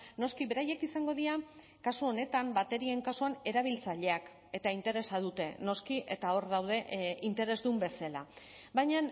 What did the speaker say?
noski beraiek izango dira kasu honetan baterien kasuan erabiltzaileak eta interesa dute noski eta hor daude interesdun bezala baina